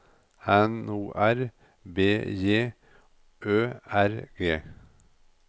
N O R B J Ø R G